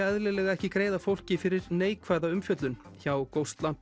eðlilega ekki greiða fólki fyrir neikvæða umfjöllun hjá